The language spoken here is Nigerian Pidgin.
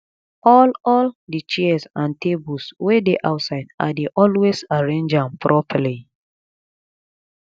all all di chairs and tables wey dey outside i dey always arrange am properly